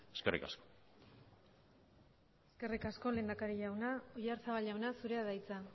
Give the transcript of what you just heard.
eskerrik asko eskerrik asko lehendakari jauna oyarzabal jauna zurea da hitza